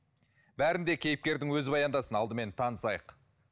бәрін де кейіпкердің өзі баяндасын алдымен танысайық